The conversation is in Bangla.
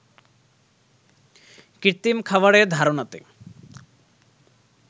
কৃত্রিম খাবারের ধারনাতে